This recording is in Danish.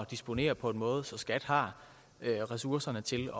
disponere på en måde så skat har ressourcerne til